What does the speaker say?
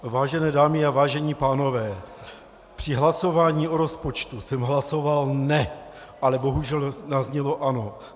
Vážené dámy a vážení pánové, při hlasování o rozpočtu jsem hlasoval "ne", ale bohužel zaznělo "ano".